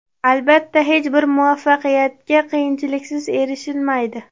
Albatta, hech bir muvaffaqiyatga qiyinchiliksiz erishilmaydi.